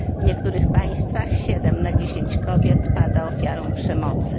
W niektórych państwach 7 na 10 kobiet pada ofiarą przemocy.